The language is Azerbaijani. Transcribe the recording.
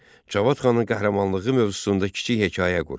Cavad xanın qəhrəmanlığı mövzusunda kiçik hekayə qur.